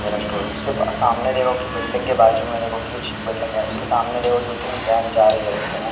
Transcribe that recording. ये रेस्टो उसके सामने देखो कि बिल्डिंग के बाजू मे देखो कुछ बिल्डिंग है उसके सामने देखो दो तीन वैन जा रही है रस्ते मे।